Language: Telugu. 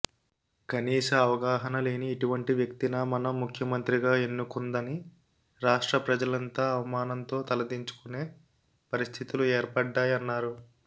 కనీస అవగాహనలేని ఇటువంటి వ్యక్తినా మనం ముఖ్యమంత్రిగా ఎన్నుకుందని రాష్ట్ర ప్రజలంతా అవమానంతో తలదించుకునే పరిస్థితులు ఏర్పడ్డాయన్నారు